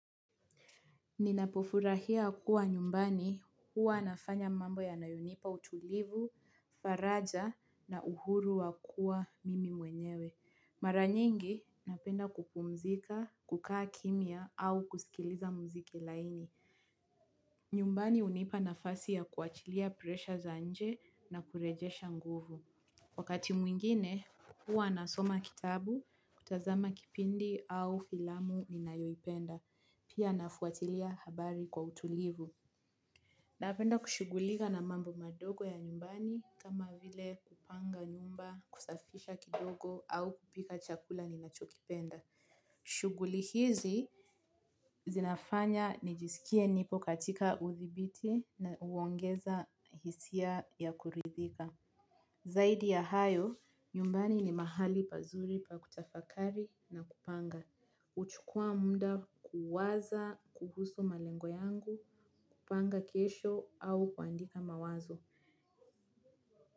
Ninapofurahia kuwa nyumbani huwa nafanya mambo yanayonipa utulivu, faraja na uhuru wa kuwa mimi mwenyewe. Mara. Nyingi napenda kupumzika, kukaa kimya au kusikiliza muziki laini. Nyumbani hunipa nafasi ya kuachilia presha za nje na kurejesha nguvu. Wakati mwingine, huwa nasoma kitabu, kutazama kipindi au filamu ninayoipenda, pia nafuatilia habari kwa utulivu. Napenda kushughulika na mambo madogo ya nyumbani kama vile kupanga nyumba, kusafisha kidogo au kupika chakula ninacho kipenda. Shughuli hizi zinafanya niko katika udhibiti na kuongeza hisia za kuridhika. Zaidi ya hayo, nyumbani ni mahali pazuri pa kutafakari na kupanga. Huchukua muda kuwaza kuhusu malengo yangu, kupanga kesho au kuandika mawazo.